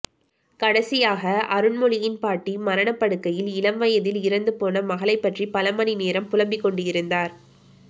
கடைசியாக அருண்மொழியின் பாட்டி மரணப்படுக்கையில் இளம் வயதில் இறந்துபோன மகளைப்பற்றி பலமணி நேரம் புலம்பிக் கொண்டிருந்தார்